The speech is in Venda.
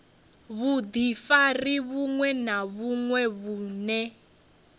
vhudifari vhuṅwe na vhuṅwe vhune